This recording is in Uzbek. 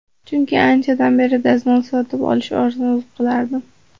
Chunki anchadan beri, dazmol sotib olishni orzu qilardim.